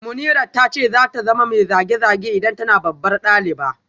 Munirat ta ce za ta zama mai zage-zage idan tana babbar daliba